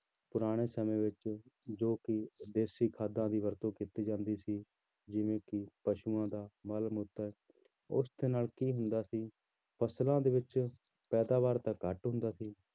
ਪੁਰਾਣੇ ਸਮੇਂ ਵਿੱਚ ਜੋ ਕਿ ਦੇਸ਼ੀ ਖਾਦਾਂ ਦੀ ਵਰਤੋਂ ਕੀਤੀ ਜਾਂਦੀ ਸੀ ਜਿਵੇਂ ਕਿ ਪਸ਼ੂਆਂ ਦਾ ਮਲ-ਮੂਤਰ, ਉਸਦੇ ਨਾਲ ਕੀ ਹੁੰਦਾ ਸੀ ਫ਼ਸਲਾਂ ਦੇ ਵਿੱਚ ਪੈਦਾਵਾਰ ਤਾਂ ਘੱਟ ਹੁੰਦਾ ਸੀ